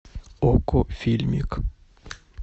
окко фильмик